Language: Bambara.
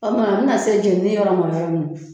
O kuma a bɛna se jɛnini yɔrɔma yɔrɔ min